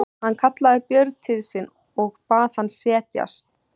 Hann kallaði Björn til sín og bað hann setjast.